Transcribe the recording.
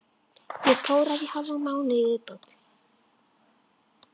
Get tórað í hálfan mánuð í viðbót.